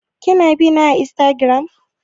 Ki na bina a Instagram?